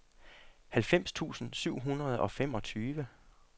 halvfems tusind syv hundrede og femogtyve